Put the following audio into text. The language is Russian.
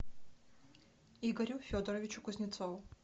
игорю федоровичу кузнецову